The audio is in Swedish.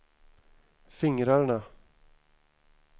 fingrarna